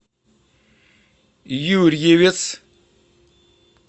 юрьевец